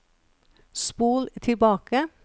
spol tilbake